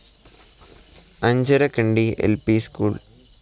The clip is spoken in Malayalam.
അഞ്ചരക്കണ്ടി ൽ പി സ്കൂൾ